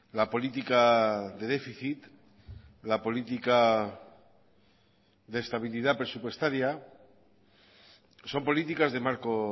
la política de déficit la política de estabilidad presupuestaria son políticas de marco